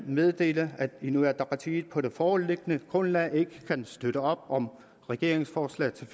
meddele at inuit ataqatigiit på det foreliggende grundlag ikke kan støtte op om regeringens forslag til